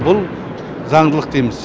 бұл заңдылық дейміз